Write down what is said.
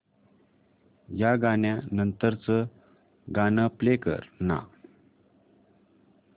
या गाण्या नंतरचं गाणं प्ले कर ना